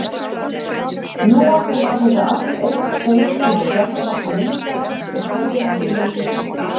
Nú orðið var þetta allt eitt spegilslétt fjallavatn minninga með sólina í miðju sér.